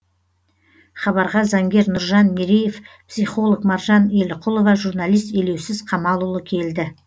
хабарға заңгер нұржан мереев психолог маржан еліқұлова журналист елеусіз камалұлы келді